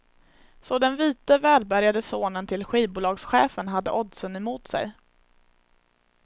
Så den vite, välbärgade sonen till skivbolagschefen hade oddsen mot sig.